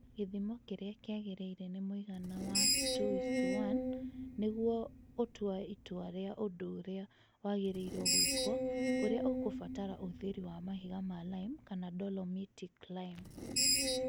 Gĩthimo kĩrĩa kĩagĩrĩire ni mũigana wa 2:1 nĩguo gũtua itua rĩa ũndũ ũrĩa wagĩrĩire gwĩĩkwo ũrĩa ũkũbatara ũhũthĩri wa mahiga ma lime kana dolomitic lime